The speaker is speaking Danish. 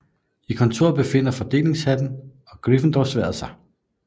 I kontoret befinder Fordelingshatten og Gryffindorsværdet sig